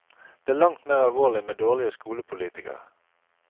Det er langt mer alvorlig med dårlige skolepolitikere.